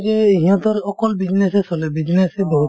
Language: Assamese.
এই যে সিহঁতৰ অকল business য়ে চলে business য়ে বহুত